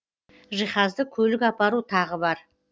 жиһазды көлік апару тағы бар